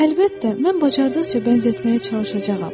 Əlbəttə, mən bacardıqca bənzətməyə çalışacağam.